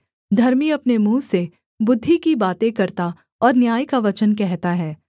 धर्मी अपने मुँह से बुद्धि की बातें करता और न्याय का वचन कहता है